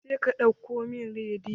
Jeka ɗauko min rediyon!